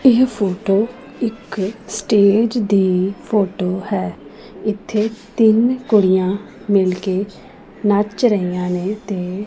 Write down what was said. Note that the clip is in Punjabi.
ਇਹ ਫੋਟੋ ਇੱਕ ਸਟੇਜ ਦੀ ਫੋਟੋ ਹੈ ਇੱਥੇ ਤਿੰਨ ਕੁੜੀਆਂ ਮਿੱਲ ਕੇ ਨੱਚ ਰਹੀਆਂ ਨੇਂ ਤੇ--